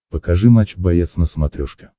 покажи матч боец на смотрешке